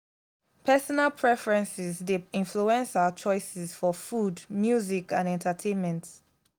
personal preferences dey influence our choices for food music and entertainment.